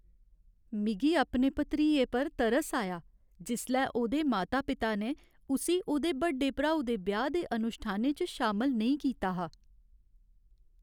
मिगी अपने भतरीए पर तरस आया जिसलै ओह्दे माता पिता ने उस्सी ओह्दे बड्डे भ्राऊ दे ब्याह् दे अनुश्ठानें च शामल नेईं कीता हा।